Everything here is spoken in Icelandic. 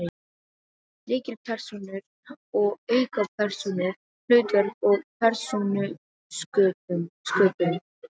Lykilpersónur og aukapersónur, hlutverk og persónusköpun